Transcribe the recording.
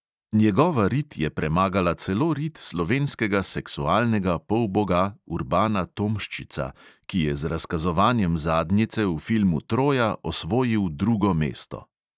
Njegova rit je premagala celo rit slovenskega seksualnega polboga urbana tomščica, ki je z razkazovanjem zadnjice v filmu troja osvojil drugo mesto.